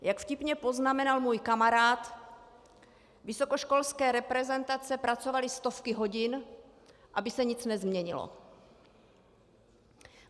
Jak vtipně poznamenal můj kamarád, vysokoškolské reprezentace pracovaly stovky hodin, aby se nic nezměnilo.